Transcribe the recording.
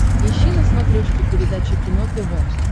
ищи на смотрешке передачу кино тв